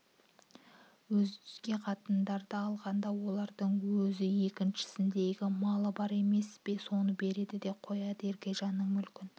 өзге қатындарды алғанда олардың өз еншісіндегі малы бар емес пе соны береді де қояды еркежан мүлкін